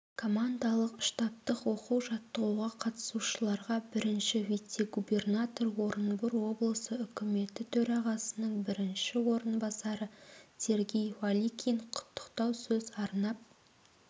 командалық-штабтық оқу-жаттығуға қатысушыларға бірінші вице-губернатор орынбор облысы үкіметі төрағасының бірінші орынбасары сергей балыкин құттықтау сөз арнап